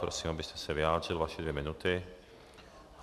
Prosím, abyste se vyjádřil, vaše dvě minuty.